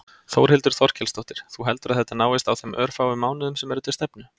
Þórhildur Þorkelsdóttir: Þú heldur að þetta náist á þeim örfáu mánuðum sem eru til stefnu?